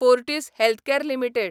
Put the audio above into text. Fortis healthcare limited